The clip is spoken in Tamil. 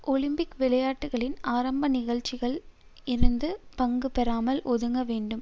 ஒலிம்பிக் விளையாட்டுக்களின் ஆரம்ப நிகழ்ச்சிகளில் இருந்து பங்கு பெறாமல் ஒதுங்க வேண்டும்